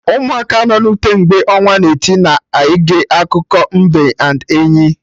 Ụmụaka nọ na ute, mgbe ọnwa na-eti, na-ege akụkọ mbe and enyi